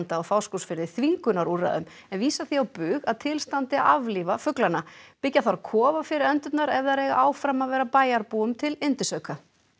á Fáskrúðsfirði þvingunarúrræðum en vísar því á bug að til standi að aflífa fuglana byggja þarf kofa fyrir endurnar ef þær eiga áfram að vera bæjarbúum til yndisauka